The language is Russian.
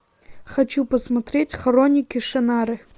хочу посмотреть хроники шаннары